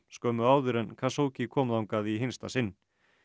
skömmu áður en kom þangað í hinsta sinn